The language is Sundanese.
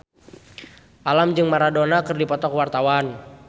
Alam jeung Maradona keur dipoto ku wartawan